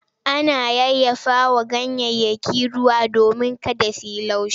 Ana yayyafawa ganyayyaki ruwa domin kada su yi laushi.